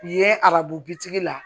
Ye arabu bitigi la